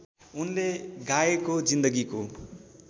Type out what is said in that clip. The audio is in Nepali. उनले गाएको जीन्दगीको